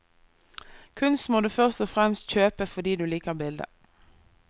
Kunst må du først og fremst kjøpe fordi du liker bildet.